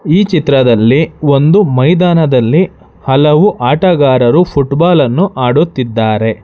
ಈ ಚಿತ್ರದಲ್ಲಿ ಒಂದು ಮೈದಾನದಲ್ಲಿ ಹಲವು ಆಟಗಾರರು ಫುಟಬಾಲ್ ಅನ್ನು ಆಡುತ್ತಿದ್ದಾರೆ.